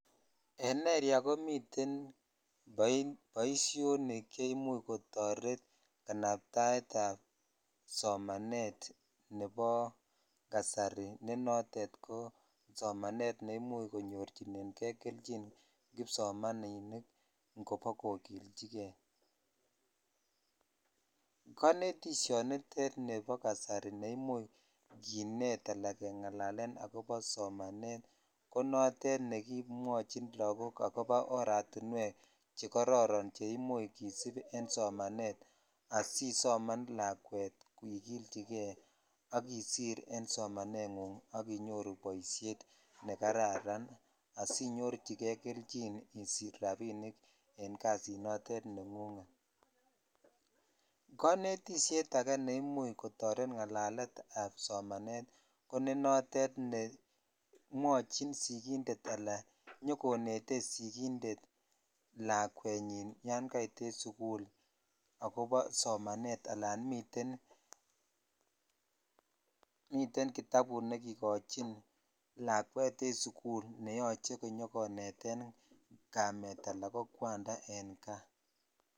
En erea komiten boishonik che imuch kotoret kanaptaet ap somanet nebo nebo nasari ne notet ko somanet ne imuch konyorchinen kri kelchin kipsomaninik ikobskokichikei(puse) konetishonitet nebo kasar neimuch kinet sla kengalalen akobo somanet konotet nekomwochin lakok akobo che kororon che imuch kisip en domanet asisoman lakwet ikilchikei ak isir en somane gu sk sich boishet ne kararan asinyorchikei kelchin isich rabinik en kasit nengunhet konetishet ake ne imuch kotoret ngalalet ab do.anat ko ne notet ne mwochin sikinded ala inyokonetet sikinded lakwenyin yan kait en sukul akobo somanet ala miten kitabut ne kikochin lakwet en suku asinyo koneten kamet ala ko kwanda en kaa.